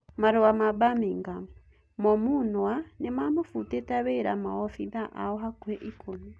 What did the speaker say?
(Marua ma-Mbamigam) Momũnua nĩmafutĩte wĩra maobithaa ao hakuhĩ ikũmi.